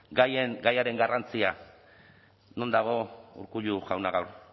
gaiaren garrantzia non dago urkullu jauna gaur